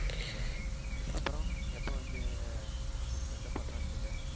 ஆஹ் அப்ரோ எப்ப வந்து உன் friend ஆ பாக்கலான்ட்டு இருக்க?